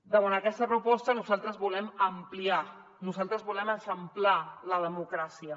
davant aquesta proposta nosaltres volem ampliar nosaltres volem eixamplar la democràcia